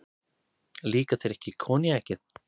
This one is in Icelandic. Líkar þér ekki koníakið?